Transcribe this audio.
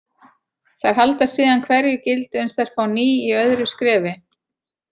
Þær halda síðan hverju gildi uns þær fá ný í öðru skrefi.